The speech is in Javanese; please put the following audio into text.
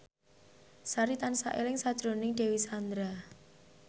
Sari tansah eling sakjroning Dewi Sandra